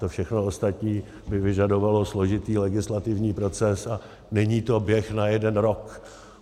To všechno ostatní by vyžadovalo složitý legislativní proces a není to běh na jeden rok.